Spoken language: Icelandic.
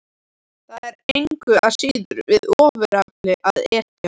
Það væri engu að síður við ofurefli að etja.